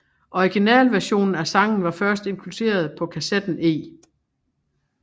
Originalversionen af sangen var først inkluderet på kassetten E